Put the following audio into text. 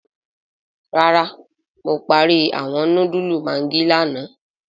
Rárá Mo parí awọn núdúlù maggi lààná